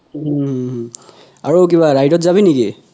অহ আৰু কিবা ride যাবি নেকি